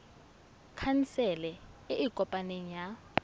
khansele e e kopaneng ya